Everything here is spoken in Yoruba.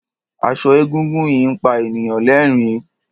Aṣọ egúngún yìí ń pa ènìyàn lẹ́rìn-ín.